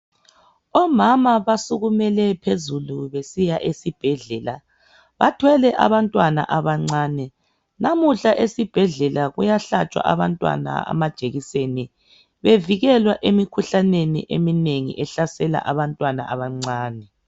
Omama basukumele phezulu besiya esibhedlela. Bathwele abantwana abancane. Namuhla esibhedlela kuyahlatshwa abantwana amajekiseni bevikelwa emikhuhlaneni eminengi ehlasela abantwana abancane.